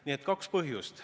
Nii et kaks põhjust.